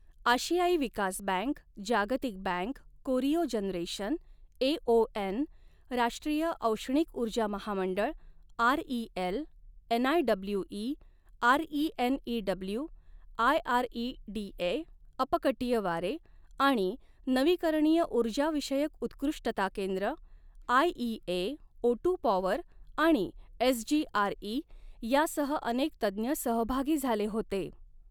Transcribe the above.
आशियाई विकास बँक, जागतिक बँक, कोरियो जनरेशन, एओएन, राष्ट्रीय औष्णिक उर्जा महामंडळ, आरईएल, एनआयडब्ल्यूई, आरईएनईडब्ल्यू आयआरईडीए, अपकटीय वारे आणि नवीकरणीय उर्जाविषयक उत्कृष्टता केंद्र, आयईए, ओटु पॉवर आणि एसजीआरई यासह अनेक तज्ञ सहभागी झाले होते.